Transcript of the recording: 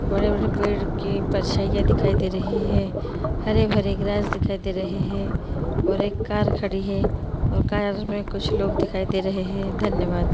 बड़े-बड़े पेड़ के परछाईयाँ दिखाई दे रही है हरे-भरे ग्रास दिखाई दे रहे हैं और एक कार खड़ी है और कार मे कुछ लोग दिखाई दे रहे हैं धन्येवाद।